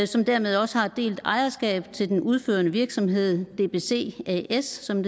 som dermed også har et delt ejerskab til den udførende virksomhed dbc as som